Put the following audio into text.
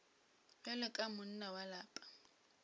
bjalo ka monna wa lapa